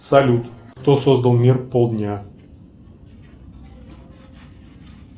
салют кто создал мир пол дня